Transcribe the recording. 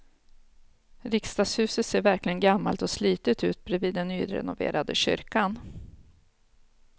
Riksdagshuset ser verkligen gammalt och slitet ut bredvid den nyrenoverade kyrkan.